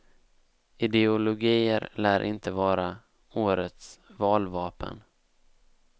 Ideologier lär inte vara årets valvapen.